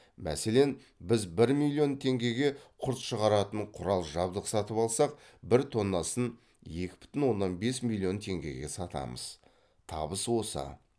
мәселен біз бір миллион теңгеге құрт шығаратын құрал жабдық сатып алсақ бір тоннасын екі бүтін оннан бес миллион теңгеге сатамыз табыс осы